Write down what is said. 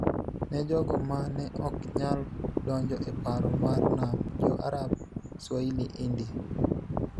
ne jogo ma ne ok nyal donjo e paro mar Nam Jo-Arab-Swahili-India